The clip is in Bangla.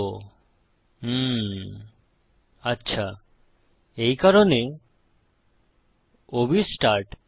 ইউএম আচ্ছা এই কারণে o b স্টার্ট